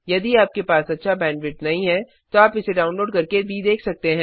यदि आपके पास अच्छा बैंडविड्थ नहीं है तो आप इसे डाउनलोड करके भी देख सकते हैं